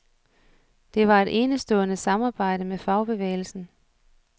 Det var et enestående samarbejde med fagbevægelsen.